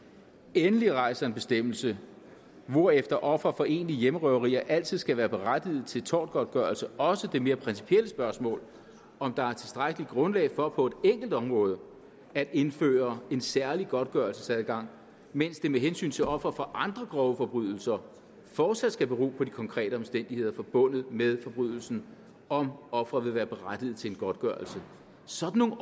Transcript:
endelig rejser en bestemmelse hvorefter ofre for egentlige hjemmerøverier altid skal være berettigede til tortgodtgørelse også det mere principielle spørgsmål om der er tilstrækkeligt grundlag for på et enkelt område at indføre en særlig godtgørelsesadgang mens det med hensyn til ofre for andre grove forbrydelser fortsat skal bero på de konkrete omstændigheder forbundet med forbrydelsen om ofret vil være berettiget til en godtgørelse sådan